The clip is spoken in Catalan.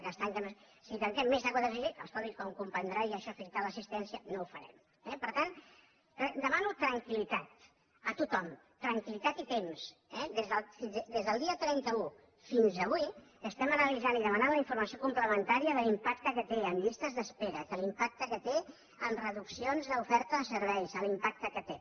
si tanquem més de quatre cents llits escolti com comprendrà i això afecta l’assistència no ho farem eh per tant demano tranquil·litat a tothom tranquil·litat i temps eh des del dia trenta un fins avui estem analitzant i demanant la informació complementària de l’impacte que té en llistes d’espera de l’impacte que té en reduccions d’oferta de serveis l’impacte que té